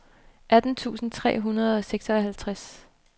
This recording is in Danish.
atten tusind tre hundrede og seksoghalvtreds